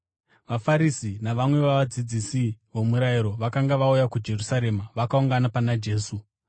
VaFarisi navamwe vavadzidzisi vomurayiro vakanga vauya kuJerusarema vakaungana pana Jesu